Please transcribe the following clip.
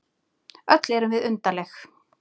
Öll erum við undarleg.